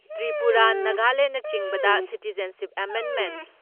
ꯇ꯭ꯔꯤꯄꯨꯔꯥ, ꯅꯥꯒꯥꯂꯦꯟꯅꯆꯤꯡꯕꯗ ꯁꯤꯇꯤꯖꯟꯁꯤꯞ ꯑꯦꯃꯦꯟꯃꯦꯟ